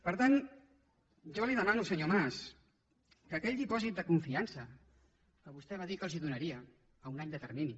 per tant jo li demano senyor mas que aquell dipòsit de confiança que vostè va dir que els donaria a un any de termini